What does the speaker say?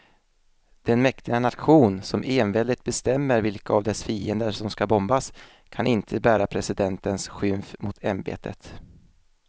Den mäktiga nation som enväldigt bestämmer vilka av dess fiender som ska bombas kan inte bära presidentens skymf mot ämbetet.